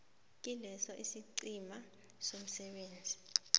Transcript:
kileso isiqhema somsebenzi